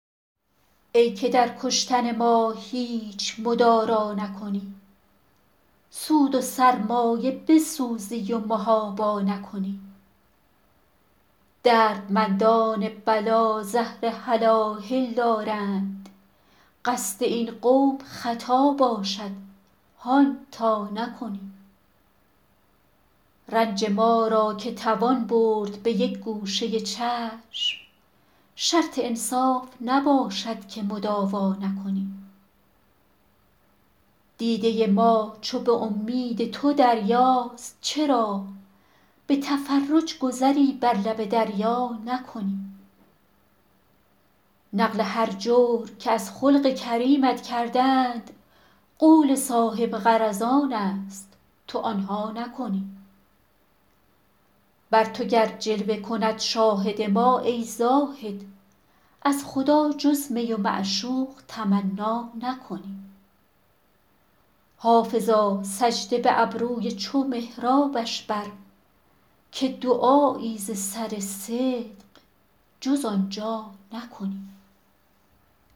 ای که در کشتن ما هیچ مدارا نکنی سود و سرمایه بسوزی و محابا نکنی دردمندان بلا زهر هلاهل دارند قصد این قوم خطا باشد هان تا نکنی رنج ما را که توان برد به یک گوشه چشم شرط انصاف نباشد که مداوا نکنی دیده ما چو به امید تو دریاست چرا به تفرج گذری بر لب دریا نکنی نقل هر جور که از خلق کریمت کردند قول صاحب غرضان است تو آن ها نکنی بر تو گر جلوه کند شاهد ما ای زاهد از خدا جز می و معشوق تمنا نکنی حافظا سجده به ابروی چو محرابش بر که دعایی ز سر صدق جز آن جا نکنی